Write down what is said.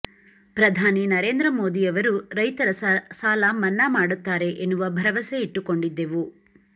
ಪ್ರಧಾನಿ ನರೇಂದ್ರ ಮೋದಿ ಅವರು ರೈತರ ಸಾಲಮನ್ನಾ ಮಾಡುತ್ತಾರೆ ಎನ್ನುವ ಭರವಸೆ ಇಟ್ಟುಕೊಂಡಿದ್ದೇವು